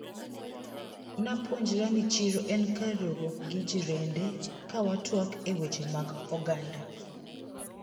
Napuonjra ni chiro en kar riwruok gi jirende kawatwak e weche mag oganda.